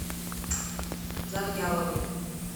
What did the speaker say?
завьяловой